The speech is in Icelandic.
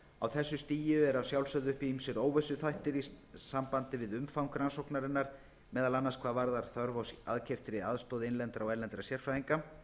á þessu stigi eru að sjálfsögðu uppi ýmsir óvissuþættir í sambandi við umfang rannsóknarinnar meðal annars hvað varðar þörf á aðkeyptri aðstoð innlendra og erlendra sérfræðinga